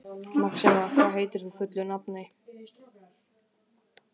Maxima, hvað heitir þú fullu nafni?